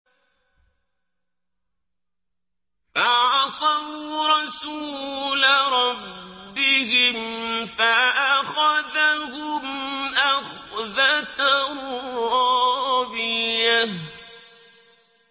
فَعَصَوْا رَسُولَ رَبِّهِمْ فَأَخَذَهُمْ أَخْذَةً رَّابِيَةً